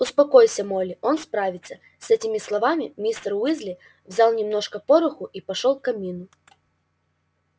успокойся молли он справится с этими словами мистер уизли взял немножко пороху и пошёл к камину